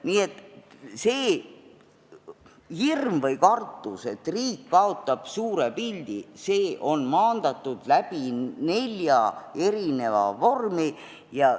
Nii et see hirm või kartus, et riik kaotab suure pildi, on maandatud nelja vormi kaudu.